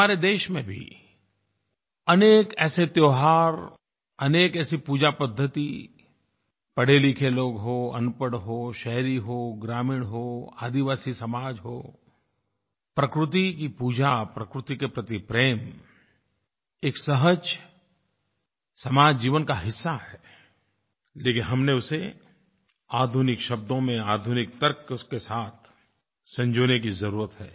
हमारे देश में भी अनेक ऐसे त्योहार अनेक ऐसी पूजापद्धति पढ़ेलिखे लोग हों अनपढ़ हो शहरी हो ग्रामीण हो आदिवासी समाज हो प्रकृति की पूजा प्रकृति के प्रति प्रेम एक सहज समाज जीवन का हिस्सा है लेकिन हमें उसे आधुनिक शब्दों में आधुनिक तर्कों के साथ संजोने की ज़रूरत है